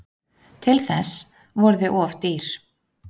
Til þess voru þau of dýr.